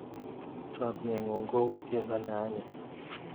Chamiengung ko u tiendo ne anyiny